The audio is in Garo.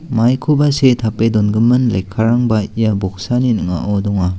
maikoba see tape dongimin lekkarangba ia boksani ning·ao donga.